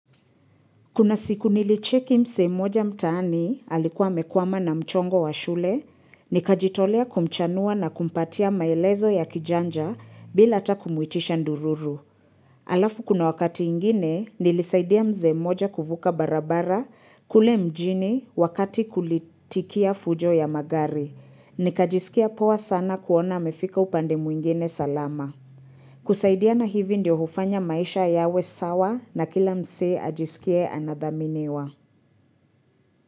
Kuna siku nilicheki msee moja mtaani, alikuwa amekwama na mchongo wa shule, nikajitolea kumchanua na kumpatia maelezo ya kijanja bila atakumuitisha ndururu. Alafu kuna wakati ingine, nilisaidia msee moja kuvuka barabara kule mjini wakati kulitikia fujo ya magari. Nikajisikia pawa sana kuona mefika upande mwingine salama. Kusaidia na hivi ndio hufanya maisha yawe sawa na kila msee ajisikie anadhaminiwa.